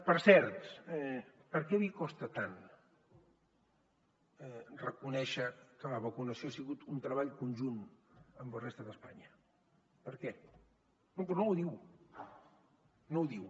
per cert per què li costa tant reconèixer que la vacunació ha sigut un treball conjunt amb la resta d’espanya per què no però no ho diu no ho diu